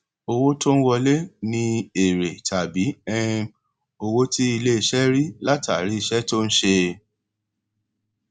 owó tó ń wọlé ni èrè tàbí um owó tí iléiṣẹ rí látàrí iṣẹ tó ń ṣe